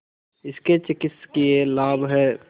इसके चिकित्सकीय लाभ हैं